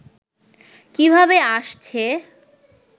কিভাবে আসছে